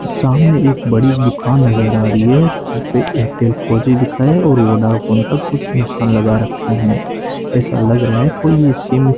सामने एक बड़ी दुकान नजर आ रही है जिसपे एयरटेल फोर जी लिखा है और वोडाफोन का कुछ निशान लगा रखे हैं ऐसा लग रहा है कोई ये सिम --